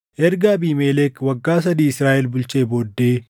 Erga Abiimelek waggaa sadii Israaʼel bulchee booddee,